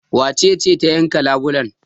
Wace ce ta yanka labulan?